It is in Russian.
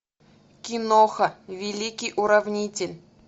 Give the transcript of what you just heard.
киноха великий уравнитель